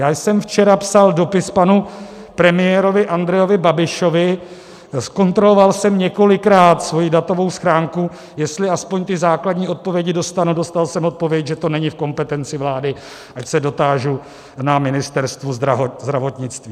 Já jsem včera psal dopis panu premiérovi Andrejovi Babišovi, zkontroloval jsem několikrát svoji datovou schránku, jestli aspoň ty základní odpovědi dostanu, dostal jsem odpověď, že to není v kompetenci vlády, ať se dotážu na Ministerstvu zdravotnictví.